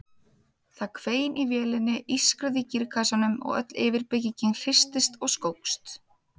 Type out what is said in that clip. Það hvein í vélinni, ískraði í gírkassanum og öll yfirbyggingin hristist og skókst.